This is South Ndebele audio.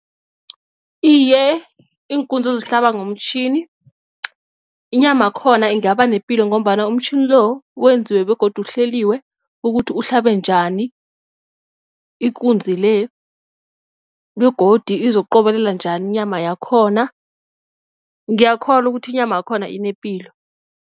Iye, iinkunzi ozihlaba ngomtjhini inyama yakhona ingaba nepilo ngombana umtjhini lo wenziwe begodu uhleliwe ukuthi uhlabe njani ikunzi le begodu izokuqobelelwa njani inyama yakhona ngiyakholwa ukuthi inyama yakhona inepilo.